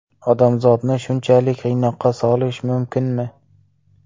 Odamzodni shunchalik qiynoqqa solish mumkinmi?